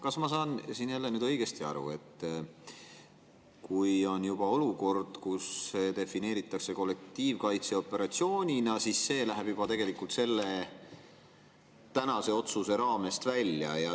Kas ma saan jälle õigesti aru, et kui on olukord, mida defineeritakse kollektiivkaitseoperatsioonina, siis see läheb tegelikult juba selle tänase otsuse raamest välja?